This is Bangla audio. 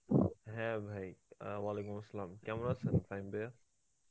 হ্যাঁ ভাই অ্যাঁ Arbi, কেমন আছেন ফাহিম ভাইয়া?